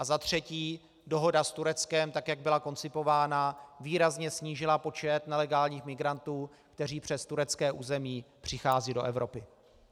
A za třetí, dohoda s Tureckem, tak jak byla koncipována, výrazně snížila počet nelegálních migrantů, kteří přes turecké území přicházejí do Evropy.